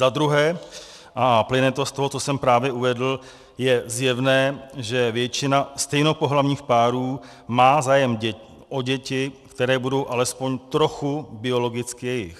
Za druhé, a plyne to z toho, co jsem právě uvedl, je zjevné, že většina stejnopohlavních párů má zájem o děti, které budou alespoň trochu biologicky jejich.